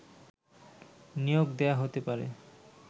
নিয়োগ দেয়া হতে পারে